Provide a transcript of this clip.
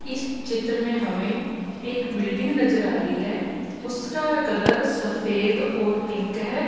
इस चित्र में हमें एक बिल्डिंग नजर आ रही है उसका कलर सफेद और पिंक है।